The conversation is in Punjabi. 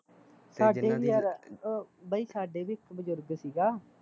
ਸਾਡੇ ਵੀ ਯਾਰ, ਬਾਈ ਸਾਡੇ ਵੀ ਇੱਕ ਬਜ਼ੁਰਗ ਸੀਗਾ